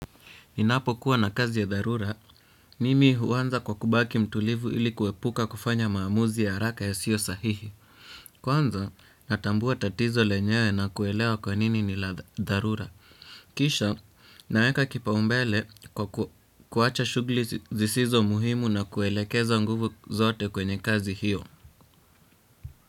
Ninapokuwa na kazi ya dharura, mimi huanza kwa kubaki mtulivu ili kuepuka kufanya maamuzi ya haraka yasio sahihi. Kwanza, natambua tatizo lenyewe na kuelewa kwa nini ni la dharura. Kisha, naeka kipaumbele kwa kuacha shugli zisizo muhimu na kuelekeza nguvu zote kwenye kazi hiyo.